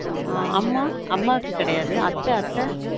on அம்மா அம்மாக்கு கெடயாது அத்த அத்த